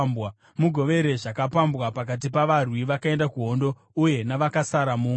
Mugovere zvakapambwa pakati pavarwi vakaenda kuhondo uye navakasara muungano.